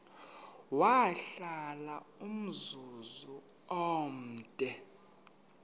wahlala umzum omde